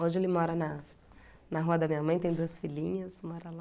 Hoje ele mora na na rua da minha mãe, tem duas filhinhas, mora lá.